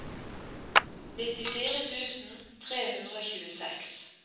nittifire tusen tre hundre og tjueseks